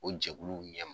O jɛkuluw ɲɛm